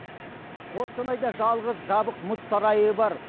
қостанайда жалғыз жабық мұз сарайы бар